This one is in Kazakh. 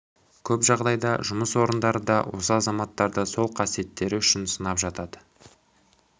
көп жағдайда жұмыс орындары да осы азаматтарды сол қасиеттері үшін сынап жатады